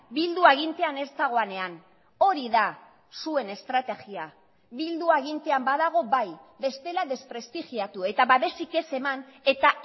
bildu agintean ez dagoenean hori da zuen estrategia bildu agintean badago bai bestela desprestigiatu eta babesik ez eman eta